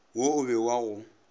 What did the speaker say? wo o be wa go